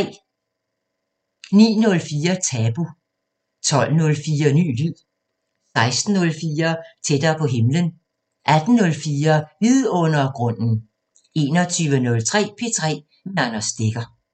09:04: Tabu 12:04: Ny lyd 16:04: Tættere på himlen 18:04: Vidundergrunden 21:03: P3 med Anders Stegger